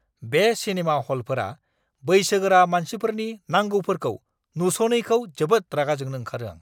बे सिनेमा ह'लफोरा बैसोगोरा मानसिफोरनि नांगौफोरखौ नुस'नैखौ जोबोद रागा जोंनो ओंखारो आं!